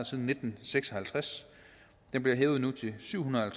siden nitten seks og halvtreds og den bliver hævet nu til syv hundrede og